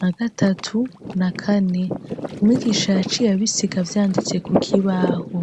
na gatatu, na kane, umwigisha yaciye abisiga avyanditse kukibaho.